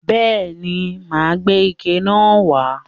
Bẹ́ẹ̀ ni, mà á gbé ike náà wà á.